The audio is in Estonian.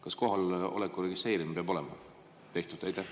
Kas kohaloleku registreerimine peab olema tehtud?